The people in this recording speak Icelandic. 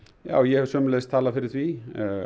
já ég hef sömuleiðis talað fyrir því